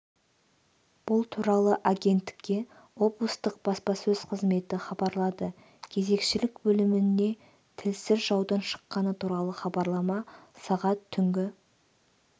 бұл туралы агенттікке облыстық баспасөз қызметі хабарлады кезекшілік бөліміне тілсіз жаудың шыққаны туралы хабарлама сағат түнгі